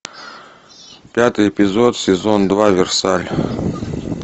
пятый эпизод сезон два версаль